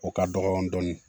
O ka dɔgɔ dɔɔnin